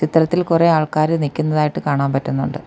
ഇത്തരത്തിൽ കൊറേ ആൾക്കാര് നിക്കുന്നതായിട്ട് കാണാൻ പറ്റുന്നുണ്ട്.